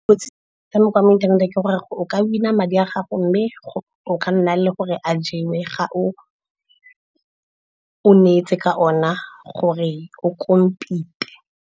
Kotsi ya metshameko ya mo inthaneteng ke gore o ka win-a madi a gago, mme o ka nna le gore a jewe ga o ne etse ka ona gore o compete-e.